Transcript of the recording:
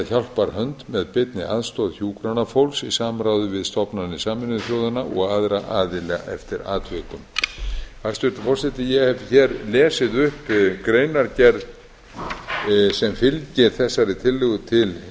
hjálparhönd með beinni aðstoð hjúkrunarfólks í samráði við stofnanir sameinuðu þjóðanna og aðra aðila eftir atvikum hæstvirtur forseti ég hef hér lesið upp greinargerð sem fylgir þessari tillögu til